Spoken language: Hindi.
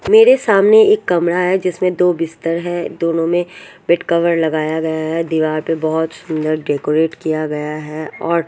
मेरे सामने एक कमरा है जिसमें दो बिस्तर है दोनों में बेड कवर लगाया गया है दीवार पे बहुत सुंदर डेकोरेट किया गया है और--